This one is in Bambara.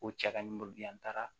Ko cɛ ka nimoro di yan n taara